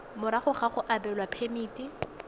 morago ga go abelwa phemiti